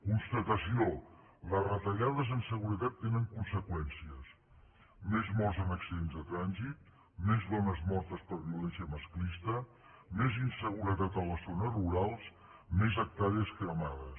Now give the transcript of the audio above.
constatació les retallades en seguretat tenen conseqüències més morts en accidents de trànsit més dones mortes per violència masclista més inseguretat a les zones rurals més hectàrees cremades